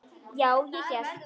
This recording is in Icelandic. Já, ég hélt.